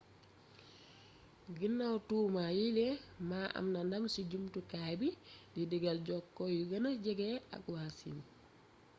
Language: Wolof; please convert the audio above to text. guinaw tuuma yiile ma am na ndam ci jamtukaay bi di diggal jokko yu gëna jege ak waa siin